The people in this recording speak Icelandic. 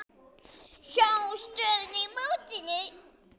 Sjá stöðuna í mótinu.